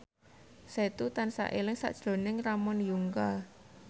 Setu tansah eling sakjroning Ramon Yungka